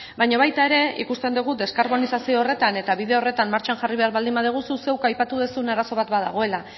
baina baita ere ikusten dugu deskarbonizazio horretan eta bide horretan martxan jarri behar baldin badugu zuk zeuk aipatu duzun arazo bat badagoela